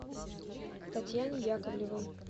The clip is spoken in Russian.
татьяне яковлевой